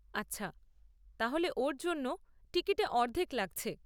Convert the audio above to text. আচ্ছা, তাহলে ওর জন্য টিকিতে অর্ধেক লাগছে।